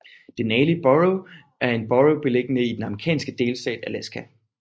Denali Borough er en borough beliggende i den amerikanske delstat Alaska